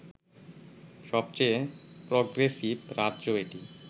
সবচেয়ে প্রগ্রেসিভ রাজ্য এটি